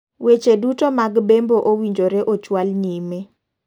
Weche duto mag bembo owinjore ochwal nyime.